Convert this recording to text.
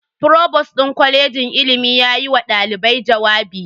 Provost din kwalejin ilimin yayi wa dalibai jawabi.